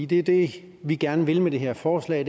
det er det vi gerne vil med det her forslag